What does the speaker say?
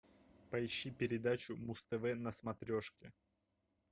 поищи передачу муз тв на смотрешке